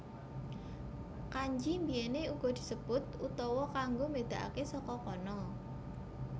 Kanji biyèné uga disebut utawa kanggo mbédakaké saka kana